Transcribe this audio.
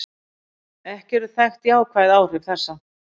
Ekki eru þekkt jákvæð áhrif þessa.